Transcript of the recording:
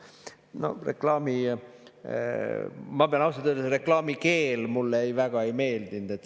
Ma pean ausalt ütlema, et selle reklaami keel mulle väga ei meeldinud.